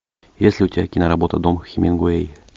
есть ли у тебя киноработа дом хемингуэй